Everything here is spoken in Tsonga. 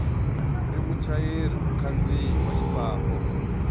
ri muchayeri mukhandziyi wa xifambo